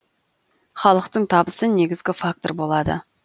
халықтың табысы негізгі фактор болады